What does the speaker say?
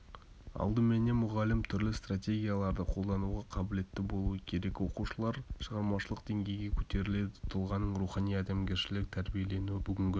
алдыменен мұғалім түрлі стратегияларды қолдануға қабілетті болуы керек оқушылар шығармашылық деңгейге қөтеріледі тұлғаның рухани-адамгершілік тәрбиеленуі бүгінгі